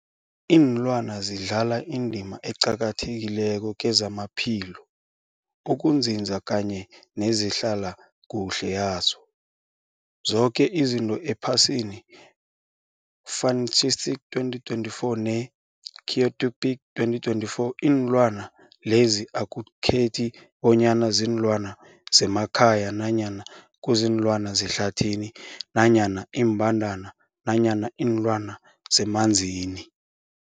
Ilwana zidlala indima eqakathekileko kezamaphilo, ukunzinza kanye nezehlala kuhle yazo zoke izinto ephasini, Fuanalytics 2024, ne-Wikipedia 2024. Iinlwana lezi akukhethi bonyana ziinlwana zemakhaya nanyana kuziinlwana zehlathini nanyana iimbandana nanyana iinlwana zemanzini.